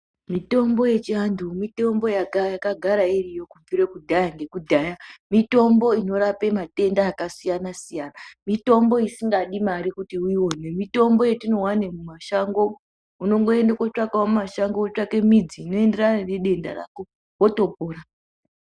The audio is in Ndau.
Mitombo yechiantu, mitombo yakagara iriyo kubvire kudhaya nekudhaya, mitombo inorape matenda akasiyana siyana, mitombo isingadi mari kuti uione. Mitombo yatinowane mumashango. Unongoende kotsvakawo mumashango, wotsvake midzi inoenderana nedenda rako wotopona.